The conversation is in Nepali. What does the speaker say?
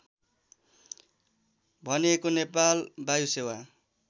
भनिएको नेपाल वायुसेवा